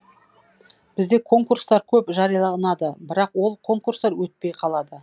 бізде конкурстар көп жарияланады бірақ ол конкурстар өтпей қалады